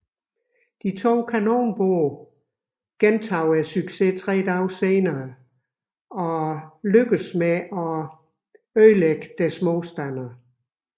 De to kanonbåde gentog successen tre dage senere og opnåede at beskadige deres modstandere